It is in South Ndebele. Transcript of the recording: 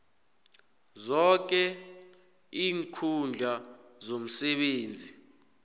zoke iinkhundla zomsebenzi